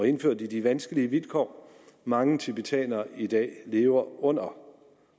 indført i de vanskelige vilkår mange tibetanere i dag lever under